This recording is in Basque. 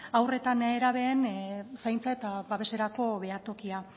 haur eta nerabeen zaintza eta babeserako behatokia